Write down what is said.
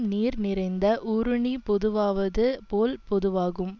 நீர் நிறைந்த ஊருணி பொதுவாவது போல் பொதுவாகும்